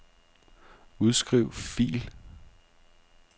Udskriv fil.